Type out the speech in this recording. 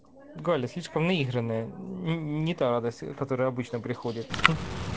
галя слишком наиграная не та радость которая обычно приходит